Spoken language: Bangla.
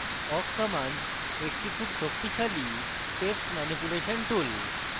awk command একটি খুব শক্তিশালী text ম্যানিপুলেশন tool